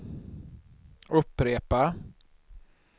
upprepa